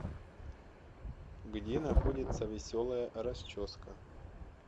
где находится веселая расческа